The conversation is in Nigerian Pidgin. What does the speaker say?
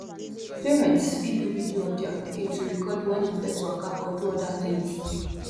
parents fit do video of their pikin to record when im first waka or do other things